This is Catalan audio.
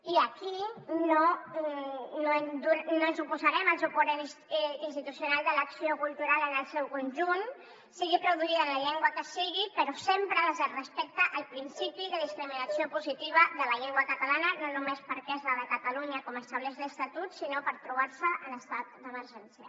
i aquí no ens oposarem al suport institucional de l’acció cultural en el seu conjunt sigui produïda en la llengua que sigui però sempre des del respecte al principi de discriminació positiva de la llengua catalana no només perquè és la de catalunya com estableix l’estatut sinó perquè es troba en estat d’emergència